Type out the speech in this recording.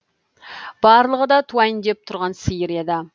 барлығы да туайын деп тұрған сиыр еді